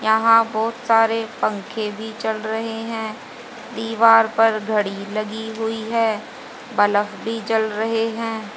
यहां बहोत सारे पंखे भी चल रहे हैं दीवार पर घड़ी लगी हुई है बलफ़ भी जल रहे हैं।